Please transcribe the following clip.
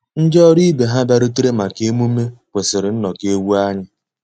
Ndị́ ọ́rụ́ ìbé há bìàrùtérè màkà emùmé kwụ́sị́rí nnọ́kọ́ égwu ànyị́.